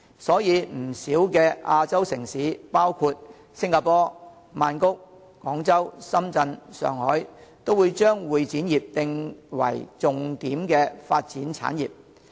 所以，不少亞洲城市，包括新加坡、曼谷、廣州、深圳、上海，也會將會展業定為重點發展產業。